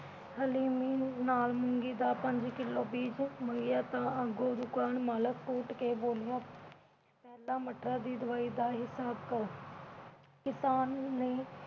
ਹਲੀਮੀ ਨਾਲ ਮੂੰਗੀ ਦਾ ਪੰਜ ਕਿਲੋ ਬੀਜ ਮੰਗਿਆ ਤਾਂ ਅੱਗੋਂ ਦੁਕਾਨ ਮਾਲਕ ਉਠ ਕੇ ਬੋਲਿਆ ਪਹਿਲਾਂ ਮਟਰਾਂ ਦੀ ਦਵਾਈ ਜਾ ਹਿਸਾਬ ਕਰ। ਕਿਸਾਨ ਨੇ